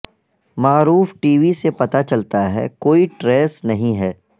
معروف T V سے پتہ چلتا ہے کوئی ٹریس نہیں ہے